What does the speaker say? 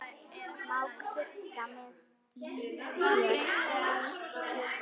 Má krydda með líkjör.